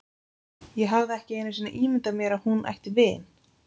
Ég hafði ekki einu sinni ímyndað mér að hún ætti vin.